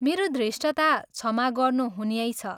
मेरो धृष्टता क्षमा गर्नुहुन्यैछ।